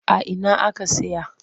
A ina aka saya?